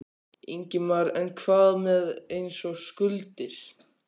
Ingimar: En hvað með eins og skuldir?